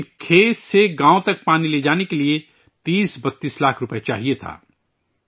لیکن کھیت سے گاوں تک پانی لے جانے کے لئے 3230 لاکھ روپئے چاہئے تھے